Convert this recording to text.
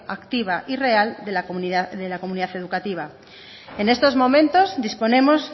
activa y real de la comunidad educativa en estos momentos disponemos